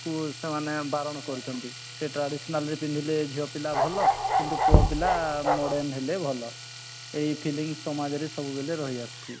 କୁ ସେମାନେ ବାରଣ କରୁଛନ୍ତି ସେ traditional ରେ ପିନ୍ଧିଲେ ଝିଅ ପିଲା ଭଲ କିନ୍ତୁ ପୁଅ ପିଲା modern ହେଲେ ଭଲ ଏଇଥିଲାଗି ସମାଜରେ ସବୁବେଲେ ରହି ଆସିଛି